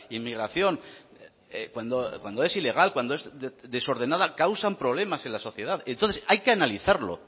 inmigración cuando es ilegal cuando es desordenada causan problemas en la sociedad entonces hay que analizarlo